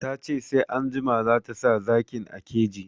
Ta ce sai anjima zata sa zakin a keji